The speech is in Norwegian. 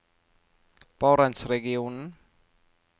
barentsregionen